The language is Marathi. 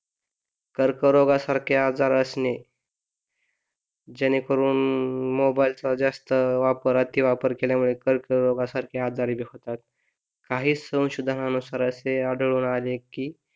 कर्करोगासारखे आजार असणे जेणेकरून मोबाइल चा जास्त वापर अति वापर केल्यामुळे कर्करोगासारखे आजार होतात काही संशोधनानुसार असे आढळून आले कि,